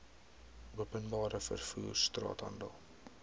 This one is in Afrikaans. openbare vervoer straathandel